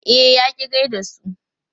E, ya ƙi gai da su.